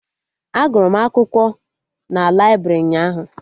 A gụrụ m akwụkwọ n'laibrị ụnyaahụ